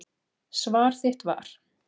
Svar þitt var.